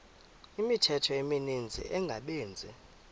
imithqtho emininzi engabaqbenzi